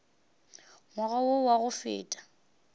ngwaga wo wa go feta